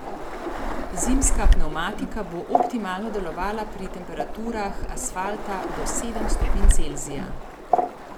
Zimska pnevmatika bo optimalno delovala pri temperaturah asfalta do sedem stopinj Celzija.